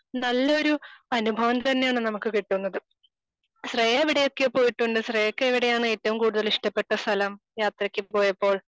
നല്ലൊരു അനുഭവം തന്നെയാണ് നമുക്ക് കിട്ടുന്നത്. ശ്രേയ എവിടെയൊക്കെ പോയിട്ടുണ്ട്? ശ്രേയക്ക് എവിടെയാണ് ഏറ്റവും കൂടുതൽ ഇഷ്ടപ്പെട്ട സ്ഥലം യാത്രക്ക് പോയപ്പോൾ